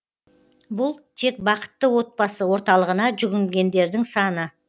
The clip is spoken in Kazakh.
бұл тек бақытты отбасы орталығына жүгінгендердің саны